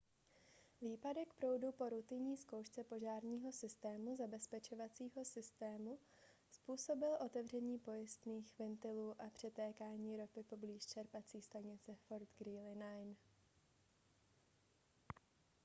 výpadek proudu po rutinní zkoušce požárního zabezpečovacího systému způsobil otevření pojistných ventilů a přetékání ropy poblíž čerpací stanice fort greely 9